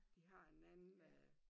De har en anden øh